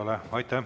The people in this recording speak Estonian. Aitäh!